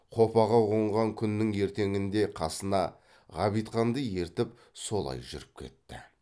қопаға қонған күннің ертеңінде қасына ғабитханды ертіп солай жүріп кетті